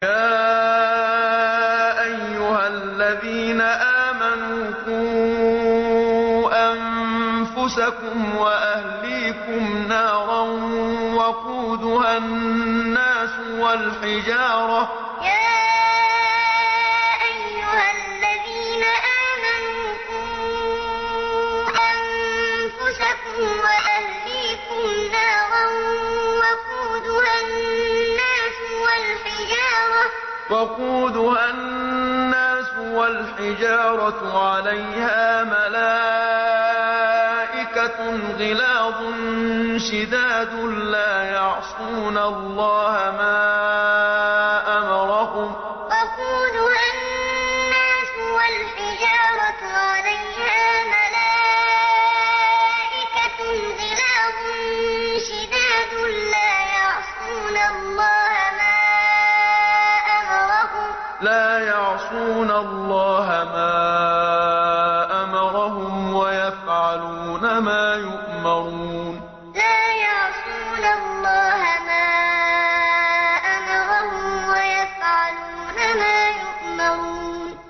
يَا أَيُّهَا الَّذِينَ آمَنُوا قُوا أَنفُسَكُمْ وَأَهْلِيكُمْ نَارًا وَقُودُهَا النَّاسُ وَالْحِجَارَةُ عَلَيْهَا مَلَائِكَةٌ غِلَاظٌ شِدَادٌ لَّا يَعْصُونَ اللَّهَ مَا أَمَرَهُمْ وَيَفْعَلُونَ مَا يُؤْمَرُونَ يَا أَيُّهَا الَّذِينَ آمَنُوا قُوا أَنفُسَكُمْ وَأَهْلِيكُمْ نَارًا وَقُودُهَا النَّاسُ وَالْحِجَارَةُ عَلَيْهَا مَلَائِكَةٌ غِلَاظٌ شِدَادٌ لَّا يَعْصُونَ اللَّهَ مَا أَمَرَهُمْ وَيَفْعَلُونَ مَا يُؤْمَرُونَ